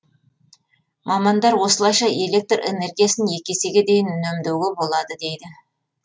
мамандар осылайша электр энергиясын екі есеге дейін үнемдеуге болады дейді